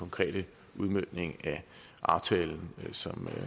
konkrete udmøntning af aftalen som